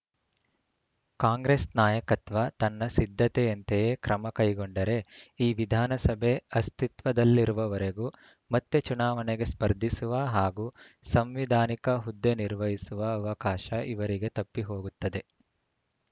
ಕಾಂಗ್ರೆಸ್‌ ನಾಯಕತ್ವ ತನ್ನ ಸಿದ್ಧತೆಯಂತೆಯೇ ಕ್ರಮ ಕೈಗೊಂಡರೆ ಈ ವಿಧಾನಸಭೆ ಅಸ್ತಿತ್ವದಲ್ಲಿರುವವರೆಗೂ ಮತ್ತೆ ಚುನಾವಣೆಗೆ ಸ್ಪರ್ಧಿಸುವ ಹಾಗೂ ಸಂವಿಧಾನಿಕ ಹುದ್ದೆ ನಿರ್ವಹಿಸುವ ಅವಕಾಶ ಇವರಿಗೆ ತಪ್ಪಿಹೋಗುತ್ತದೆ